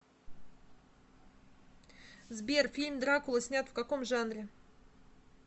сбер фильм дракула снят в каком жанре